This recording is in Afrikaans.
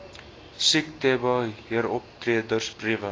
siektebe heeroptredes briewe